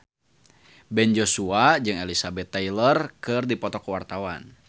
Ben Joshua jeung Elizabeth Taylor keur dipoto ku wartawan